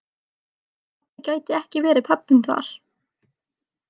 Pabbi gæti ekki verið pabbinn þar.